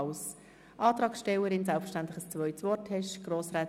Die Antragstellerin wünscht noch einmal das Wort.